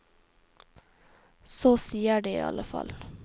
Så sier de i alle fall.